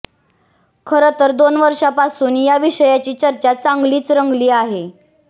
खरं तर दोन वर्षापासून या विषयाची चर्चा चांगलीच रंगली आहे